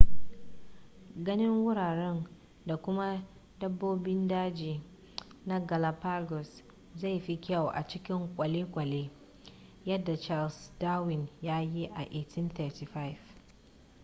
ganin wuraren da kuma dabbobin daji na galapagos zai fi kyau a cikin kwalekwale yadda charles darwin ya yi a 1835